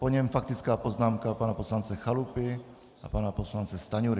Po něm faktická poznámka pana poslance Chalupy a pana poslance Stanjury.